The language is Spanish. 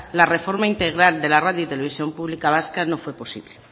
la reforma integral de la radio y televisión pública vasca no fue posible